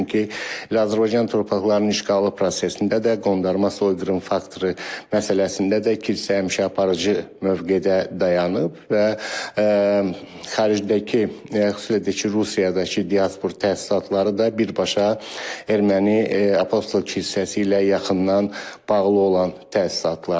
Çünki Azərbaycan torpaqlarının işğalı prosesində də, qondarma soyqırım faktoru məsələsində də kilsə həmişə aparıcı mövqedə dayanıb və xaricdəki, xüsusilə də ki, Rusiyadakı diaspor təsisatları da birbaşa erməni apostol kilsəsi ilə yaxından bağlı olan təsisatlardır.